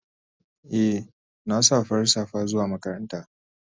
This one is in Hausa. Eh na sa farar safa zuwa makaranta.